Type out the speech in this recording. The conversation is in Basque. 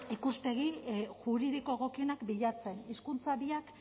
ikuspegi juridiko egokienak bilatzen hizkuntza biak